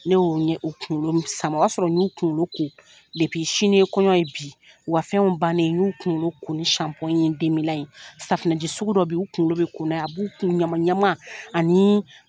Ne y'o ɲɛ, o kunkolo sama, o y'a sɔrɔ n y'u kunkolo ko sini ye kɔɲɔ ye, bi wa fɛnw bannen n y'u kunkolo ko ni ni ye safinɛji sugu dɔ be yen, u kunkolo bi ko n'a ye, a b'u kun ɲama ɲama ani